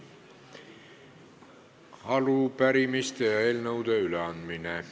Arupärimiste ja eelnõude üleandmine.